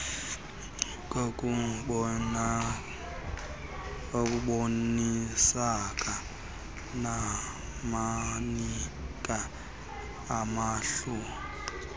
kokubonisana nabanikazi abahlukeneyo